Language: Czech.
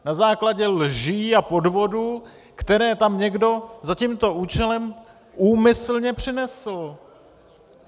Na základě lží a podvodů, které tam někdo za tímto účelem úmyslně přinesl.